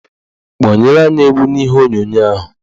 Kpọnyere anyị egwu n'ihe onyonyo ahụ